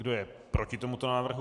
Kdo je proti tomuto návrhu?